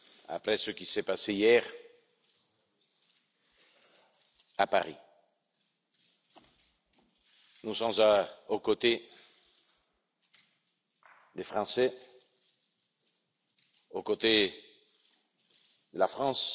Après ce qui s'est passé hier à Paris, nous sommes aux côtés des Français et de la France.